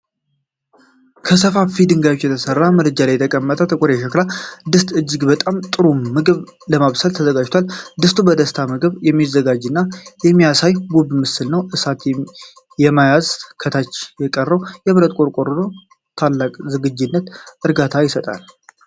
ከሰፋፊ ድንጋዮች በተሰራ ምድጃ ላይ የተቀመጠ ጥቁር የሸክላ ድስት እጅግ በጣም ጥሩ ምግብ ለማብሰል ተዘጋጅቷል። ድስቱ በደስታ ምግብን እንደሚያዘጋጅ የሚያሳይ ውብ ምስል ነው። እሳት ለማያያዝ ከታች የቀረበው የብረት ቆርቆሮ ታላቅ ዝግጁነትንና እርጋታን ይሰጣል።